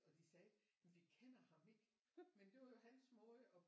Og de sagde vi kender ham ikke men det var hans måde at